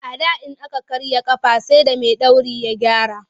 A da in aka karya a ƙafa sai da maiɗori ya gyara.